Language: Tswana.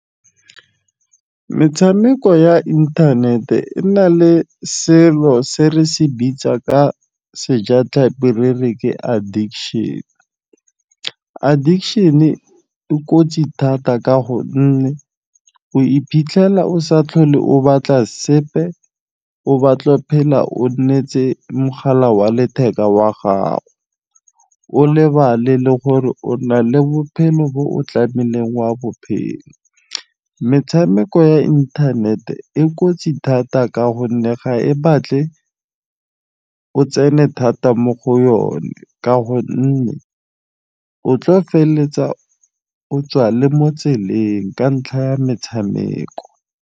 Metshameko ya internet-e e nale selo se re se bitsang ka sejatlhapi re re ke addiction. Addiction e kotsi thata ka gonne o iphitlhela o sa tlhole o batla sepe, o batlo phela o netse mogala wa letheka wa gago, o lebale le gore o na le bophelo bo o tlamileng wa bophela. Metshameko ya inthanete e kotsi thata ka gonne ga e batle o tsene thata mo go yone. Ka gonne, o tlo feleletsa o tswa le mo tseleng ka ntlha ya metshameko.